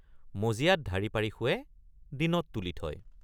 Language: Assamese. মজিয়াত ঢাৰি পাৰি শোৱে দিনত তুলি থয় ।